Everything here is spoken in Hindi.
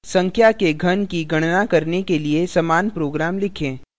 संख्या के घन की गणना करने के लिए समान प्रोग्राम लिखें